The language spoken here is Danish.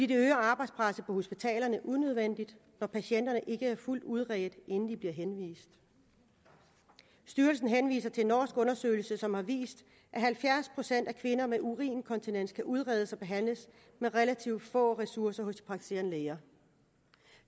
det øger arbejdspresset på hospitalerne unødvendigt når patienterne ikke er fuldt udredt inden de bliver henvist styrelsen henviser til en norsk undersøgelse som har vist at halvfjerds procent af kvinder med urininkontinens kan udredes og behandles med relativt få ressourcer hos de praktiserende læger